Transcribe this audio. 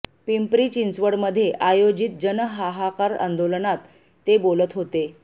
पिंपरी चिंचवडमध्ये आयोजित जन हाहाकार आंदोलनात ते बोलत होते